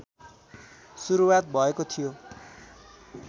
सुरुवात भएको थियो